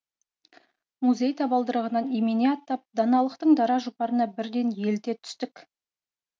музей табалдырығынан имене аттап даналықтың дара жұпарына бірден еліте түстік